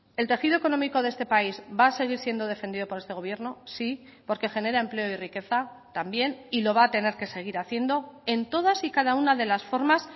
el tejido económico de este país va a seguir siendo defendido por este gobierno sí porque genera empleo y riqueza también y lo va a tener que seguir haciendo en todas y cada una de las formas